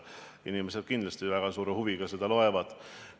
Inimesed kindlasti väga suure huviga seda loevad.